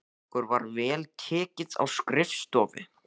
Okkur var vel tekið á skrifstofu